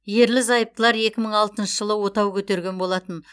ерлі зайыптылар екі мың алтыншы жылы отау көтерген болатын